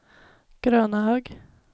Grönahög